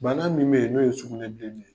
Banna min bɛ yen n'o ye sugunɛ bilenin ye.